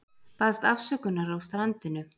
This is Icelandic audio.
Baðst afsökunar á strandinu